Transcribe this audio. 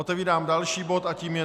Otevírám další bod a tím je